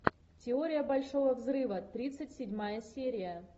теория большого взрыва тридцать седьмая серия